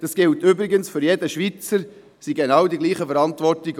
Das gilt übrigens für jeden Schweizer, es sind die genau gleichen Verantwortungen.